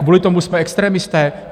Kvůli tomu jsme extremisté?